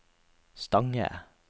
Stange